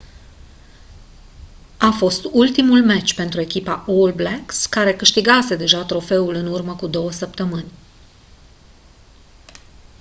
a fost ultimul meci pentru echipa all blacks care câștigase deja trofeul în urmă cu două săptămâni